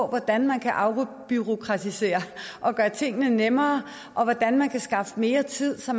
hvordan man kan afbureaukratisere og gøre tingene nemmere og hvordan man kan skaffe mere tid så